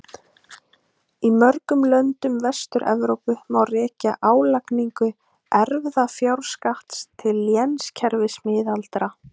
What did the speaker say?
Í mörgum löndum Vestur-Evrópu má rekja álagningu erfðafjárskatts til lénskerfis miðalda.